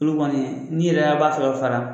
Olu kɔni ni yɛrɛ an b'a fɛ ka fara